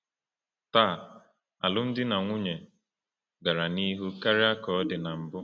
Taa, alụmdi na nwunye gara n’ihu karịa ka ọ dị na mbụ.